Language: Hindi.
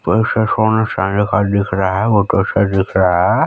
ऊपर से सोने खाने का दिख रहा हैं बोहोत अच्छा दिख रहा हैं।